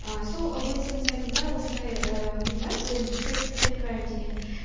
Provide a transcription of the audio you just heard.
ы сол обсе нің сайтында осындай ііі не бар бөлім хейт хейт крайм деген